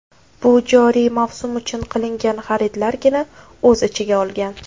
Bu joriy mavsum uchun qilingan xaridlargina o‘z ichiga olgan.